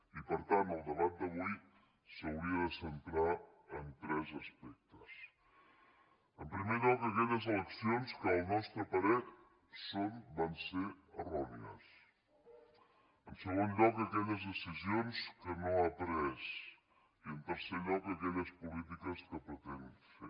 i per tant el debat d’avui s’hauria de centrar en tres aspectes en primer lloc aquelles eleccions que al nostre parer van ser errònies en segon lloc aquelles decisions que no ha pres i en tercer lloc aquelles polítiques que pretén fer